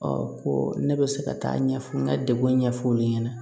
ko ne bɛ se ka taa ɲɛfɔ n ka degun ɲɛfɔ olu ɲɛna